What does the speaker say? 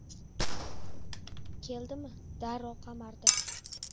Keldimi, darrov qamardi.